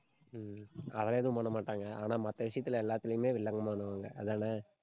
அது எதுவும் எதுவும் பண்ணமாட்டாங்க. ஆனா, மத்த விஷயத்துல எல்லாத்துலயுமே வில்லங்கமானவங்க அதானே